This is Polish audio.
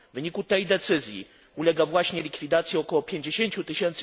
W wyniku tej decyzji ulega właśnie likwidacji około 50 tys.